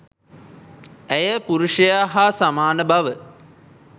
ඇය පුරුෂයා හා සමාන බව